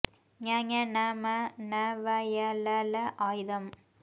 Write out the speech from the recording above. ங ஞ ண ந ம ன வ ய ல ள ஆய்தம்